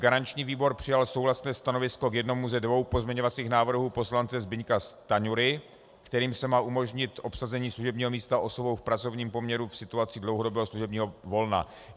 Garanční výbor přijal souhlasné stanovisko k jednomu ze dvou pozměňovacích návrhů poslance Zbyňka Stanjury, kterým se má umožnit obsazení služebního místa osobou v pracovním poměru v situaci dlouhodobého služebního volna.